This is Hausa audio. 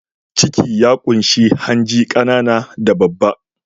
Ciki ya ƙunshi hanji, ƙanana da babba.